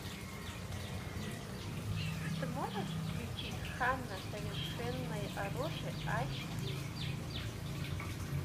ты можешь включить ханна совершенное оружие аш ди